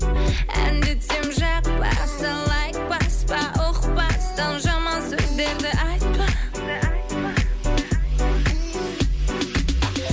әндетсем жақпаса лайк баспа ұқпастан жаман сөздерді айтпа